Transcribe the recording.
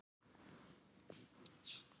Nei, þetta gerðist meira óvart.